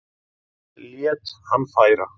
Lét hann færa